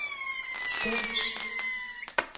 Stevns